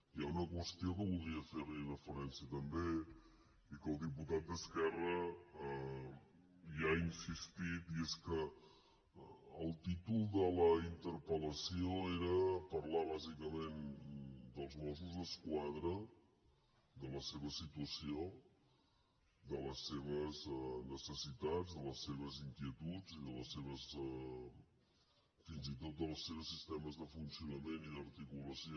hi ha una qüestió que voldria fer hi referència també i que el diputat d’esquerra hi ha insistit i és que el títol de la interpel·lació era parlar bàsicament dels mossos d’esquadra de la seva situació de les seves necessitats de les seves inquietuds i fins i tot dels seus sistemes de funcionament i d’articulació